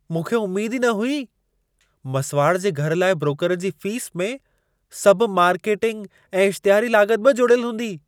मूंखे उमेद ई न हुई! मसुवाड़ जे घर लाइ ब्रोकर जी फ़ीस में, सभु मार्केटिंग ऐं इश्तिहारी लाॻत बि जोड़ियल हूंदी।